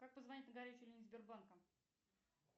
как позвонить на горячую линию сбербанка